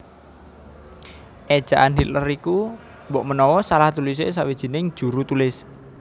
Éjaan Hitler iku mbokmenawa salah tulisé sawijining juru tulis